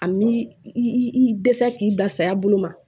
A mi i dɛsɛ k'i basaya bolo ma